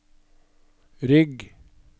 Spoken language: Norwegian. rygg